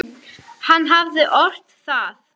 Hann hafði ort það.